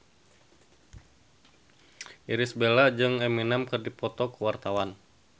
Irish Bella jeung Eminem keur dipoto ku wartawan